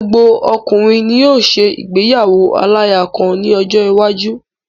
Gbogbo ọkùnrin ni yóò ṣe ìgbéyàwo aláya kan ní ọjọ́ iwájú.